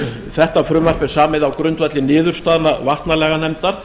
þetta frumvarp er samið á grundvelli niðurstaðna vatnalaganefndar